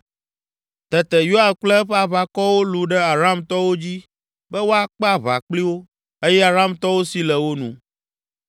Tete Yoab kple eƒe aʋakɔwo lũ ɖe Aramtɔwo dzi be woakpe aʋa kpli wo eye Aramtɔwo si le wo nu.